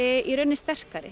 sterkari